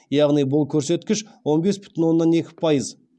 яғни бұл көрсеткіш он бес бүтін оннан екі пайыз